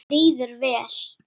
Hún kom með hann hingað.